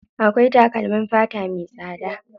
Akwai takalmin fata me tsada.